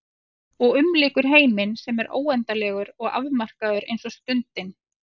Og umlykur heiminn sem er óendanlegur og afmarkaður eins og stundin.